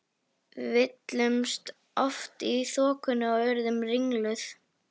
Við villtumst oft í þokunni og urðum ringluð.